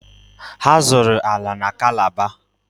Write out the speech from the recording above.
Ha zụrụ ala na Calabar.